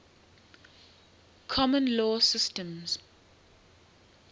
common law systems